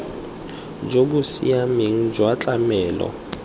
jo bo siameng jwa tlamelo